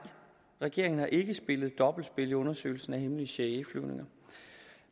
regeringen har ikke spillet dobbeltspil i undersøgelsen af hemmelige cia flyvninger